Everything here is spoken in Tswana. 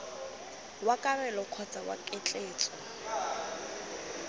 wa kabelo kgotsa wa ketleetso